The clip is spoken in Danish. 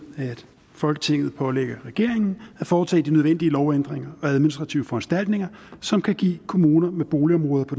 at folketinget pålægger regeringen at foretage de nødvendige lovændringer og administrative foranstaltninger som kan give kommuner med boligområder på